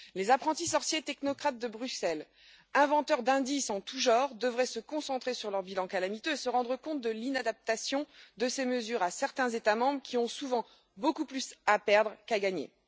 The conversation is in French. Les apprentis sorciers technocrates de Bruxelles, inventeurs d'indices en tout genre, devraient se concentrer sur leur bilan calamiteux et se rendre compte de l'inadaptation de ces mesures à certains États membres qui ont souvent beaucoup plus à perdre qu'à gagner.